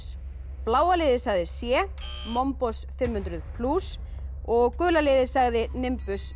bláa liðið sagði c mombos fimm hundruð og gula liðið sagði